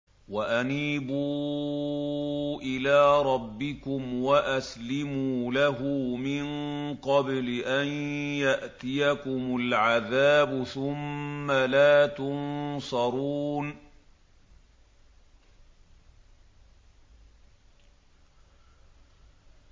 وَأَنِيبُوا إِلَىٰ رَبِّكُمْ وَأَسْلِمُوا لَهُ مِن قَبْلِ أَن يَأْتِيَكُمُ الْعَذَابُ ثُمَّ لَا تُنصَرُونَ